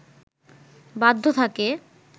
বাধ্য থাকে